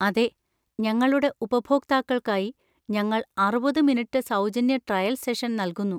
അതെ, ഞങ്ങളുടെ ഉപഭോക്താക്കൾക്കായി ഞങ്ങൾ അറുപത് മിനിറ്റ് സൗജന്യ ട്രയൽ സെഷൻ നൽകുന്നു.